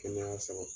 Kɛnɛya sabati